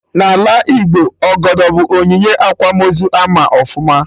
N'ala Igbo, Ọgọdọ bụ onyinye akwamozu ama ọfụma